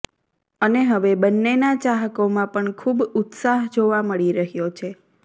અને હવે બંનેના ચાહકોમાં પણ ખૂબ ઉત્સાહ જોવા મળી રહ્યો છે